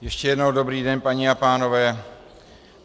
Ještě jednou dobrý den, paní a pánové.